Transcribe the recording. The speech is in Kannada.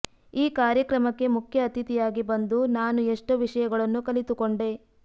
ಈ ಕಾರ್ಯಕ್ರಮಕ್ಕೆ ಮುಖ್ಯ ಅತಿಥಿಯಾಗಿ ಬಂದು ನಾನು ಎಷ್ಟೋ ವಿಷಯಗಳನ್ನು ಕಲಿತುಕೊಂಡೆ